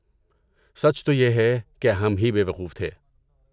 سچ تو یہ ہے، کہ ہم ہی بیوقوف تھے۔